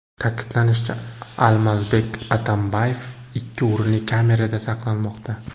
Ta’kidlanishicha, Almazbek Atambayev ikki o‘rinli kamerada saqlanmoqda.